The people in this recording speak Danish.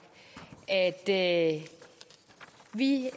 at vi